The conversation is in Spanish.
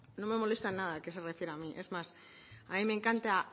no me molesta nada que se refiera a mí es más a mí me encanta